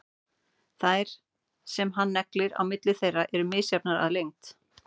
Þær sem hann neglir á milli þeirra eru misjafnar að lengd.